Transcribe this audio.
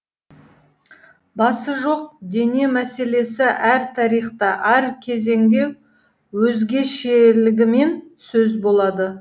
басы жоқ дене мәселесі әр тарихта әр кезеңде өзгешелігімен сөз болады